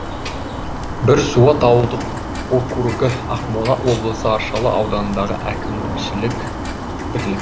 бірсуат ауылдық округі ақмола облысы аршалы ауданындағы әкімшілік бірлік